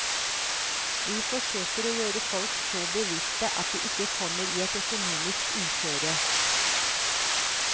Vi forsøker å gjøre folk så bevisste at de ikke kommer i et økonomisk uføre.